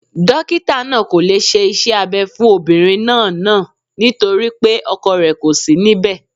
Dokita naa ko le se ise Abe fun Obinrin naa naa ;nitori pe ọkọ rẹ ko si níbè